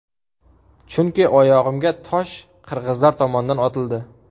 Chunki oyog‘imga tosh qirg‘izlar tomondan otildi.